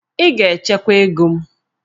Ị ga-echekwa ego m!